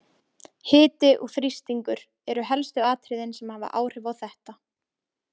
Hiti og þrýstingur eru helstu atriðin sem hafa áhrif á þetta.